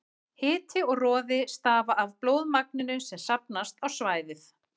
Hiti og roði stafa af blóðmagninu sem safnast á svæðið.